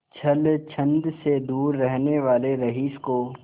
छल छंद से दूर रहने वाले रईस को